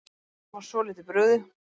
Var svolítið brugðið